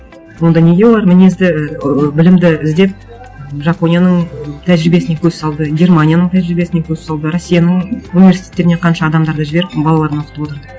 онда неге олар мінезді ыыы білімді іздеп жапонияның тәжірибесіне көз салды германияның тәжірибесіне көз салды россияның университеттеріне қанша адамдарды жіберіп балаларын оқытып отырды